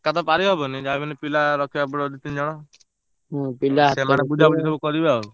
ଏକା ତ ପାରିହବନି ଯାହା ବି ହେଲେ ପିଲା ରଖିବାକୁ ପଡିବ ଦି ତିନ ଜଣ ସେମାନେ ବୁଝା ବୁଝି ସବୁ କରିବେ ଆଉ।